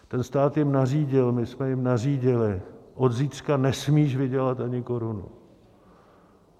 Ten stát jim nařídil, my jsme jim nařídili: od zítřka nesmíš vydělat ani korunu.